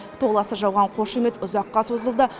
толассыз жауған қошемет ұзаққа созылды